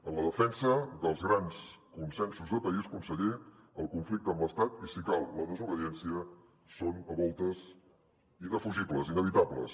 en la defensa dels grans consensos de país conseller el conflicte amb l’estat i si cal la desobediència són a voltes indefugibles inevitables